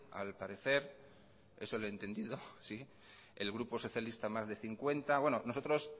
al parecer eso le he entendido el grupo socialista más de cincuenta nosotros